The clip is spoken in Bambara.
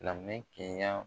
laminɛ